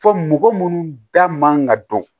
Fɔ mɔgɔ munnu da man ka dɔn